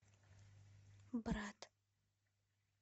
брат